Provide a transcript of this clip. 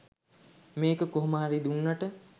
මේක කොහොම හරි දුන්නට.